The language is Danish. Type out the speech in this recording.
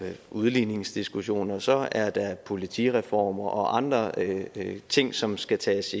udligningsdiskussioner så er der politireformer og andre ting som skal tages